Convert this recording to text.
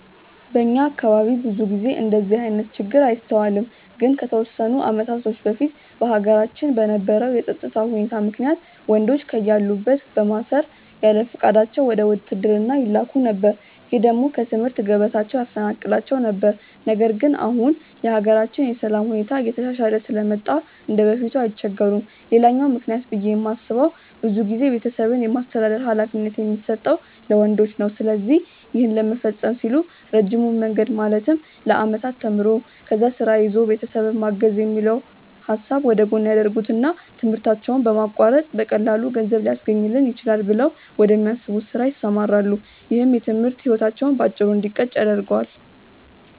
በእኛ አካባቢ ብዙ ጊዜ እንደዚህ አይነት ችግር አይስተዋልም። ግን ከተወሰኑ አመታቶች በፊት በሀገራችን በነበረው የፀጥታ ሁኔታ ምክንያት ወንዶችን ከያሉበት በማሰር ያለፍቃዳቸው ወደ ውትድርና ይላኩ ነበር። ይህ ደግሞ ከትምህርት ገበታቸው ያፈናቅላቸው ነበር። ነገር ግን አሁን የሀገራችን የሰላም ሁኔታ እየተሻሻለ ስለመጣ እንደበፊቱ አይቸገሩም። ሌላኛው ምክንያት ብዬ የማስበው ብዙ ጊዜ ቤተሰብን የማስተዳደር ሀላፊነት የሚሰጠው ለወንዶች ነው። ስለዚህ ይህን ለመፈፀም ሲሉ ረጅሙን መንገድ ማለትም ለአመታት ተምሮ፣ ከዛ ስራ ይዞ ቤተሰብን ማገዝ የሚለውን ሀሳብ ወደጎን ያደርጉትና ትምህርታቸውን በማቋረጥ በቀላሉ ገንዘብ ሊያስገኝልኝ ይችላል ብለው ወደሚያስቡት ስራ ይሰማራሉ። ይህም የትምህርት ህይወታቸው በአጭሩ እንዲቀጭ ያደርገዋል።